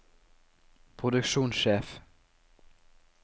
produksjonssjef